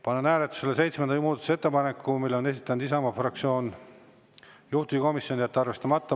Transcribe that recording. Panen hääletusele seitsmenda muudatusettepaneku, mille on esitanud Isamaa fraktsioon, juhtivkomisjon: jätta arvestamata.